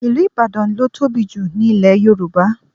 Ìlú Ìbàdàn ló tóbi jù ní ilẹ̀ Yorùbá